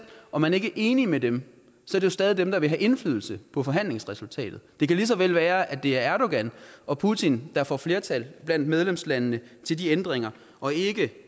om man ikke er enig med dem er det stadig dem der vil have indflydelse på forhandlingsresultatet det kan lige så vel være at det er erdogan og putin der får flertal blandt medlemslandene til de ændringer og ikke